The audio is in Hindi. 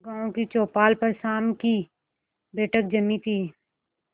गांव की चौपाल पर शाम की बैठक जमी थी